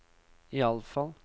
iallfall